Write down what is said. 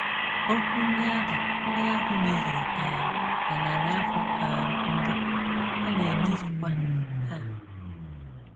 Okwu ndị ahụ ndị ahụ mezuru um na narị afọ um mbụ, ha na-emezukwa taa.